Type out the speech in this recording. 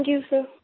thank you सिर